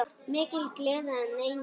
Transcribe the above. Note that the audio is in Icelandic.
Mikil gleði en einnig kvíði.